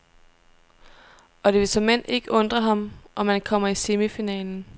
Og det vil såmænd ikke undre ham, om han kommer i semifinalen.